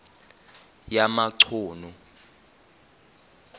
yamachunu